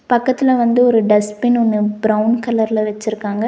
பக்கத்துல வந்து ஒரு டஸ்ட்பின் ஒன்னு ப்ரௌவுன் கலர்ல வெச்சுருக்காங்க.